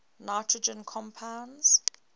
nitrogen compounds